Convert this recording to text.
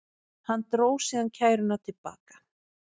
Hann dró síðan kæruna til baka